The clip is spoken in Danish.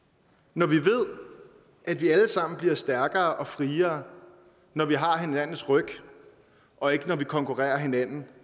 når vi ved at vi alle sammen bliver stærkere og friere når vi har hinandens ryg og ikke når vi konkurrerer hinanden